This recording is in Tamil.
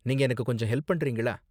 நீங்க எனக்கு கொஞ்சம் ஹெல்ப் பண்றீங்களா?